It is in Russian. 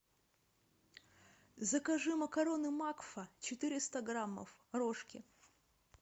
закажи макароны макфа четыреста граммов рожки